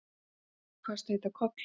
Sæmundur kvaðst heita Kollur.